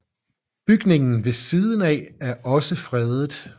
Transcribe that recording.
Bygningen ved siden af er også fredet